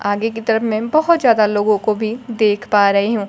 आगे की तरफ में मैं बहोत ज्यादा लोगों को भी देख पा रही हूं।